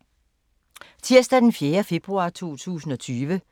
Tirsdag d. 4. februar 2020